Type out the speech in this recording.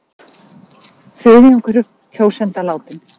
Þriðjungur kjósenda látinn